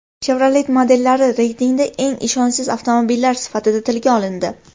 Chevrolet modellari reytingda eng ishonchsiz avtomobillar sifatida tilga olindi.